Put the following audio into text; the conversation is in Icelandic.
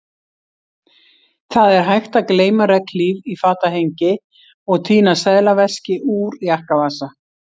Það er hægt að gleyma regnhlíf í fatahengi og týna seðlaveski úr jakkavasa